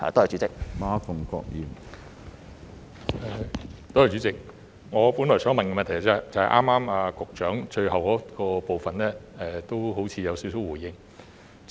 主席，我本來想問的補充質詢，正是剛才局長最後回答的部分，他似乎已回應了一部分。